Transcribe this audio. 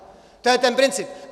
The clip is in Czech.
To je ten princip.